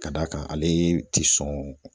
Ka d'a kan ale tɛ sɔn